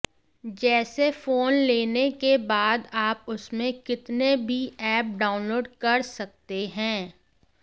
जैसे फोन लेने के बाद आप उसमें कितने भी ऐप डाउनलोड कर सकते हैं